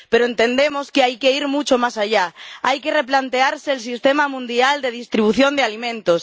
Pero entendemos que hay que ir mucho más allá hay que replantearse el sistema mundial de distribución de alimentos.